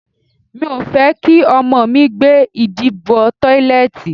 Mi ò fẹ́ kí ọmọ mi gbé ìdí bọ tọ́lẹ̀tì.